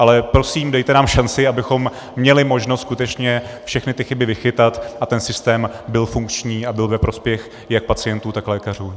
Ale prosím, dejte nám šanci, abychom měli možnost skutečně všechny ty chyby vychytat a ten systém byl funkční a byl ve prospěch jak pacientů, tak lékařů.